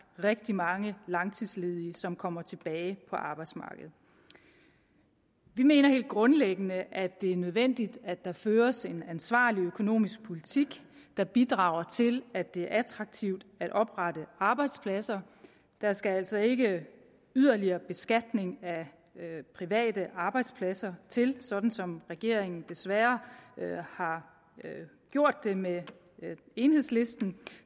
rigtig mange langtidsledige som kommer tilbage på arbejdsmarkedet vi mener helt grundlæggende at det er nødvendigt at der føres en ansvarlig økonomisk politik der bidrager til at det er attraktivt at oprette arbejdspladser der skal altså ikke yderligere beskatning af private arbejdspladser til sådan som regeringen desværre har gjort det med enhedslisten